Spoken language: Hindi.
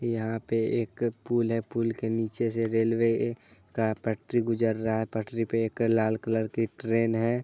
यहा पे एक पूल है पूल के नीचे से रेल्वे आ का पटरी गुजर रहा है पटरी पे एक लाल कलर की ट्रेन है।